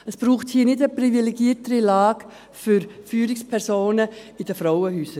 Es braucht hier nicht eine privilegiertere Lage für Führungspersonen in den Frauenhäusern.